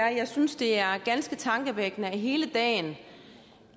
at jeg synes det er ganske tankevækkende at hele dagen